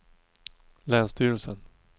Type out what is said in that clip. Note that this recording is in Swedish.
Länsstyrelsen